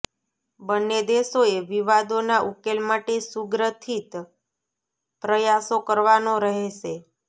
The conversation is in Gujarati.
બંને દેશોએ વિવાદોના ઉકેલ માટે સુગ્રથિત પ્રયાસો કરવાનો રહેશે